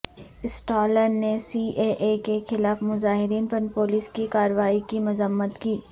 Stalin نے C A A کے مخالف مظاہرین پر پولیس کی کارروائی کی مذمت کی